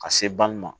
Ka se bange ma